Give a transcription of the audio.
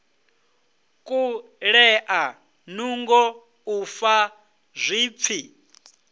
kulea nungo u fa zwipfi